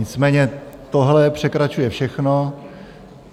Nicméně tohle překračuje všechno.